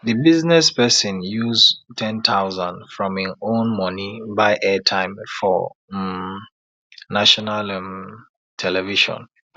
de business person use ten thousand from im own monie buy airtime for um national um television